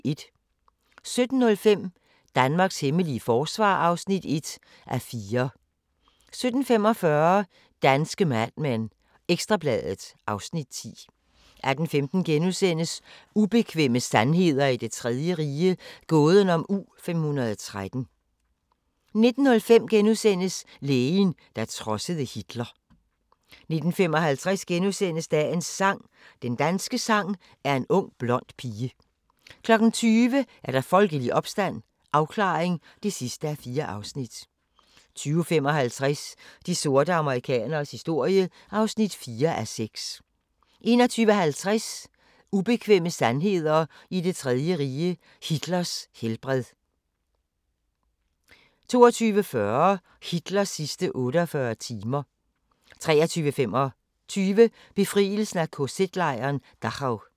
17:05: Danmarks hemmelige forsvar (1:4) 17:45: Danske Mad Men: Ekstra Bladet (Afs. 10) 18:15: Ubekvemme sandheder i det 3. rige – gåden om U-513 * 19:05: Læreren, der trodsede Hitler * 19:55: Dagens sang: Den danske sang er en ung blond pige * 20:00: Folkelig opstand – afklaring (4:4) 20:55: De sorte amerikaneres historie (4:6) 21:50: Ubekvemme sandheder i Det 3. Rige – Hitlers helbred 22:40: Hitlers sidste 48 timer 23:25: Befrielsen af KZ-lejren Dachau